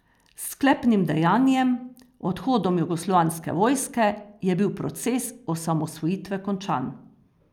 S sklepnim dejanjem, odhodom jugoslovanske vojske, je bil proces osamosvojitve končan.